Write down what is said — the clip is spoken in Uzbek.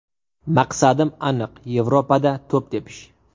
Maqsadim aniq Yevropada to‘p tepish.